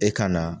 E ka na